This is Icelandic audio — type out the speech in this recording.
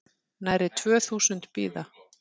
Nærri tvö þúsund bíða